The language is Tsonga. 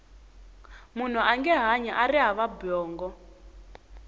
munhu ange hanyi ari hava bongo